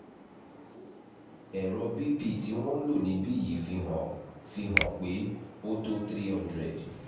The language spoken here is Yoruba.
ẹrọ bp tí wọ́n ń lò níbí yìí fi hàn fi hàn pé ó tó three hundred